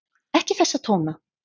Ekki þessa tóna!